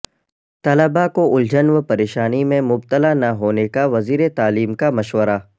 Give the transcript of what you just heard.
طلبہ کو الجھن و پریشانی میں مبتلا نہ ہونے کا وزیرتعلیم کا مشورہ